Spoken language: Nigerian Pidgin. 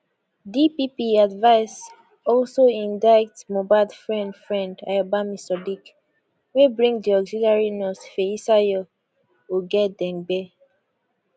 dpp advice also indict mohbad friend friend ayobami sadiq wey bring di auxiliary nurse feyisayo ogedengbe